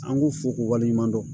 An k'u fo k'u waleɲuman dɔn